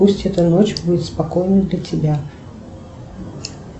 пусть эта ночь будет спокойной для тебя